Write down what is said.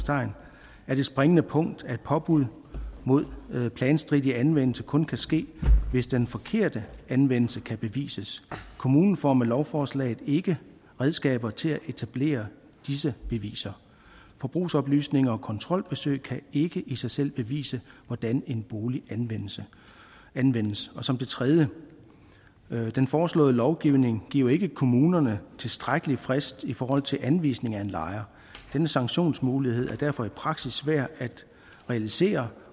jeg det springende punkt at påbud mod planstridig anvendelse kun kan ske hvis den forkerte anvendelse kan bevises kommunen får med lovforslaget ikke redskaber til at etablere disse beviser forbrugsoplysninger og kontrolbesøg kan ikke i sig selv bevise hvordan en bolig anvendes anvendes og som det tredje den foreslåede lovgivning giver ikke kommunerne tilstrækkelig frist i forhold til anvisning af en lejer denne sanktionsmulighed er derfor i praksis svær at realisere